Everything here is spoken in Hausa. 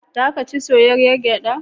Za ka ci soyayyar gyaɗa?